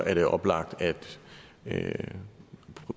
er det oplagt at